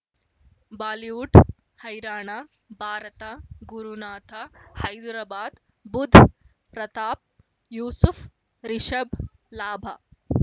Bollywood ಹೈರಾಣ ಭಾರತ ಗುರುನಾಥ ಹೈದರಾಬಾದ್ ಬುಧ್ ಪ್ರತಾಪ್ ಯೂಸುಫ್ ರಿಷಬ್ ಲಾಭ